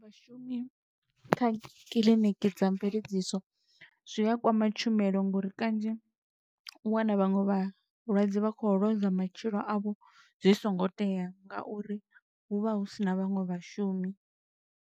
Vhashumi kha kiḽiniki dza mveledziso, zwi a kwama tshumelo ngouri kanzhi u wana vhaṅwe vhalwadze vha khou lozwa matshilo a vho zwi songo tea, ngauri hu vha hu sina vhaṅwe vhashumi.